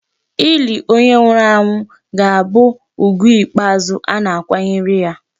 Ili onye nwụrụ anwụ ga-abụ ugwu ikpeazụ a na-akwanyere ya.